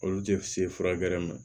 Olu tɛ se furakɛrɛ ma